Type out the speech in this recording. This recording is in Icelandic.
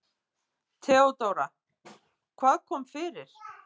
THEODÓRA: Hvað kom fyrir?